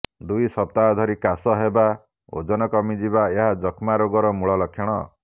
ଦୁଇ ସପ୍ତାହ ଧରି କାଶ ହେବା ଓଜନ କମିବା ଏହା ଯକ୍ଷ୍ମାରୋଗର ମୂଳଲକ୍ଷଣ